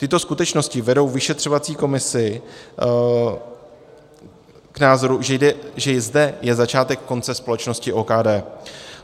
Tyto skutečnosti vedou vyšetřovací komisi k názoru, že zde je začátek konce společnosti OKD.